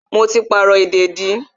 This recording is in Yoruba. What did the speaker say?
Mo ti pàrọ̀ ìdèdí